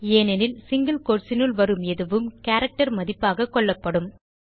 ஏனெனில் single quotes னுள் வரும் எதுவும் கேரக்டர் மதிப்பாக கொள்ளப்படும்